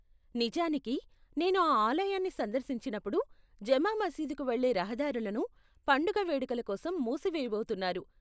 నిజానికి, నేను ఆ ఆలయాన్ని సందర్శించినప్పుడు జమా మసీదుకు వెళ్లే రహదారులను పండుగ వేడుకల కోసం మూసివేయబోతున్నారు.